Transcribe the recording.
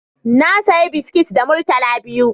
Na saya biskit da murtala biyu